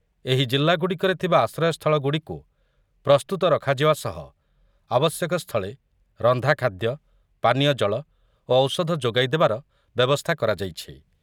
ଏହି ଜିଲ୍ଲା ଗୁଡ଼ିକରେ ଥିବା ଆଶ୍ରୟସ୍ଥଳ ଗୁଡ଼ିକୁ ପ୍ରସ୍ତୁତ ରଖାଯିବା ସହ ଆବଶ୍ୟକସ୍ଥଳେ ରନ୍ଧାଖାଦ୍ୟ, ପାନୀୟଜଳ ଓ ଔଷଧ ଯୋଗାଇଦେବାର ବ୍ୟବସ୍ଥା କରାଯାଇଛି ।